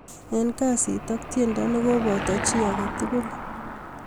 Eng kasit ak tiendo ne kopoto chi agetugul